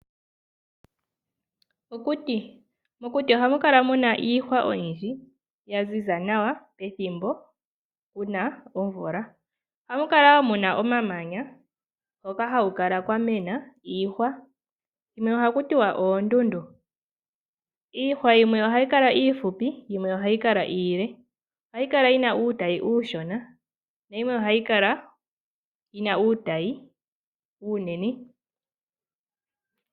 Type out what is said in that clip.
Okuti. Mokuti ohamu kala muna iihwa oyindji ya ziza nawa pethimbo kuna omvula. Ohamu kala woo muna omamanya ngoka haku kala kwamena iihwa shino ohakutiwa oondundu. Iihwa yimwe ohayi kala iihupi yimwe ohayi kala iile. Ohayi kala yina uutayi uushona na yimwe ohayi kala yina uutayi uunene.